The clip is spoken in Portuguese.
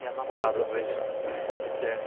E as namoradas, como que é?